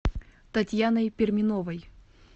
татьяной перминовой